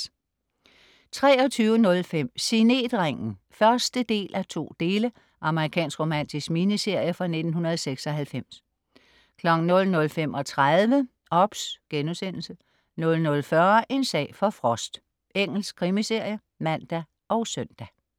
23.05 Signetringen (1:2). Amerikansk romantisk miniserie fra 1996 00.35 OBS* 00.40 En sag for Frost. Engelsk krimiserie (man og søn)